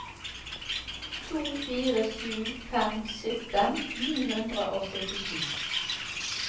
to fire sju fem sytten ni hundre og syttisju